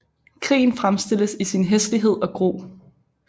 Krigen fremstilles i sin hæslighed og gru